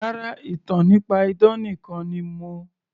Rárá, ìtàn nípa idán nìkan ni mo